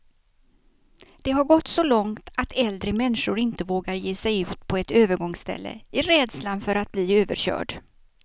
Det har gått så långt att äldre människor inte vågar ge sig ut på ett övergångsställe, i rädslan för att bli överkörd.